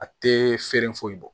A tɛ feere foyi bɔ